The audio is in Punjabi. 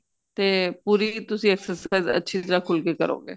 ਤੇ ਪੂਰੀ ਤੁਸੀਂ exercise ਅੱਛੀ ਤਰ੍ਹਾਂ ਖੁਲ ਕੇ ਕਰੋ ਗੇ